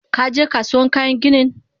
Kaje Kasuwan kayan ginin?